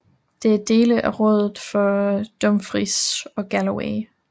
Det er dele af rådet for Dumfries and Galloway